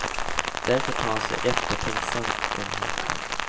Därför tar han sig eftertänksamt om hakan.